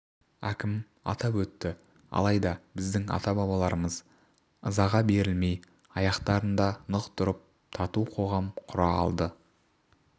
әкім атап өтті алайда біздің ата-бабаларымыз ызаға берілмей аяқтарында нық тұрып тату қоғам құра алды